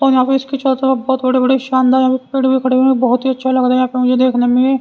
और यहां पे इसकी चल बहुत बड़े-बड़े शानदार पेड़ भी खड़े हुए बहुत ही अच्छा लग रहा है यहां पे मुझे देखने में--